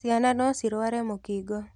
Ciana no cirware mũkingo.